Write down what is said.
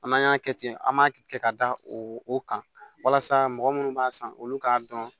An'an y'a kɛ ten an b'a kɛ ka da o kan walasa mɔgɔ minnu b'a san olu k'a dɔn